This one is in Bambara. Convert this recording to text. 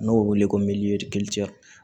N'o bɛ wele ko